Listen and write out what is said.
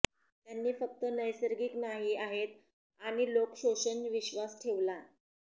त्यांनी फक्त नैसर्गिक नाही आहेत आणि लोक शोषण विश्वास ठेवला